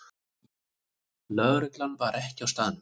Lögreglan var ekki á staðnum